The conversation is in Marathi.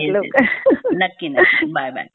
यस यस नक्की नक्की बाय बाय